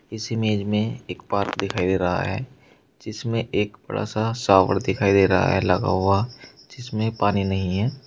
इस इमेज में एक पार्क दिखाई दे रहा है जिसमें एक बड़ा सा शॉवर दिखाई दे रहा है लगा हुआ जिसमें पानी नहीं है।